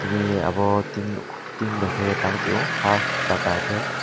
ni obo tin nuk tin bia ke tangtio half paka kai.